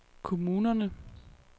kommunerne